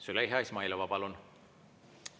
Züleyxa Izmailova, palun!